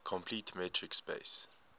complete metric space